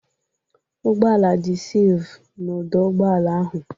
Ụgbọala dị sefu n'ọdọ ụgbọala ahụ.